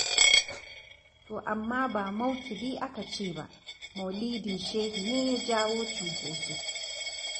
To amma ba maukibi aka ce ba, maulidin shehi ne ya jawo cunkoso.